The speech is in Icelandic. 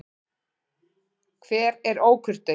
Hver er ókurteis?